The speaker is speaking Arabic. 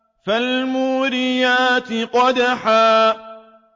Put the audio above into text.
فَالْمُورِيَاتِ قَدْحًا